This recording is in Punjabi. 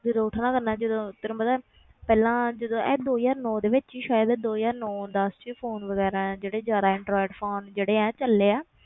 ਜਦੋਂ ਉੱਠਣਾ ਕਰਨਾ ਜਦੋਂ ਤੈਨੂੰ ਪਤਾ ਹੈ ਪਹਿਲਾਂ ਜਦੋਂ ਇਹ ਦੋ ਹਜ਼ਾਰ ਨੋਂ ਦੇ ਵਿੱਚ ਹੀ ਸ਼ਾਇਦ ਦੋ ਹਜ਼ਾਰ ਨੋਂ ਦਸ 'ਚ phone ਵਗ਼ੈਰਾ ਹੈ ਜਿਹੜੇ ਜ਼ਿਆਦਾ ਐਂਡਰੋਇਡ phone ਜਿਹੜੇ ਇਹ ਚੱਲੇ ਆ,